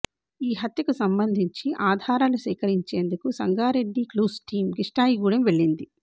ఈ హత్యకు సంబంధించి ఆధారాలు సేకరించేందుకు సంగారెడ్డి క్లూస్ టీమ్ కిష్టాయాగూడెం వెళ్లింది